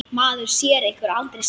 Maður sér ykkur aldrei saman.